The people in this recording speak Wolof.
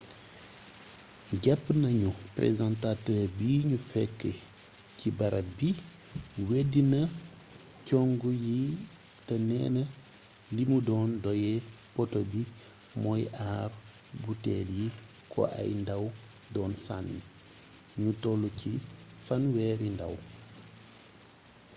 jàpp nañu présentateur bi ñu fekk ci barab bi weddina cong yi te neena li mu doon doye poteau bi mooy aar buteel yi ko ay ndaw doon sànni ñu tollu ci fanweeri ndaw